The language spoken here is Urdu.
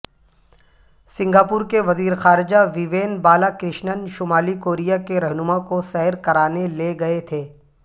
سنگاپور کے وزیرخارجہ ووین بالاکرشنن شمالی کوریا کے رہنما کو سیر کرانے لے گئے تھے